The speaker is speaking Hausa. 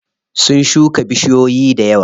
Sun shuka bishiyoyi dayawa.